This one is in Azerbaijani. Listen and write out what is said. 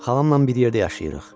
Xalamla bir yerdə yaşayırıq.